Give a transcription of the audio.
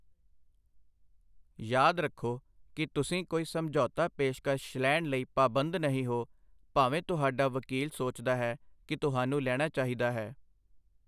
ਯਾਦ ਰੱਖੋ ਕਿ ਤੁਸੀਂ ਕੋਈ ਸਮਝੌਤਾ ਪੇਸ਼ਕਸ਼ ਲੈਣ ਲਈ ਪਾਬੰਦ ਨਹੀਂ ਹੋ, ਭਾਵੇਂ ਤੁਹਾਡਾ ਵਕੀਲ ਸੋਚਦਾ ਹੈ ਕਿ ਤੁਹਾਨੂੰ ਲੈਣਾ ਚਾਹੀਦਾ ਹੈ।